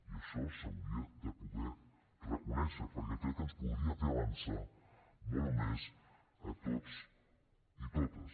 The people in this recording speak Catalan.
i això s’hauria de poder reconèixer perquè crec que ens podria fer avançar molt més a tots i totes